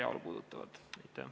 Urve Tiidus, palun!